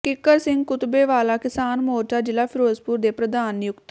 ਕਿੱਕਰ Singh Kutbewala ਕਿਸਾਨ ਮੋਰਚਾ ਜ਼ਿਲ੍ਹਾ ਿਫ਼ਰੋਜ਼ਪੁਰ ਦੇ ਪ੍ਰਧਾਨ ਨਿਯੁਕਤ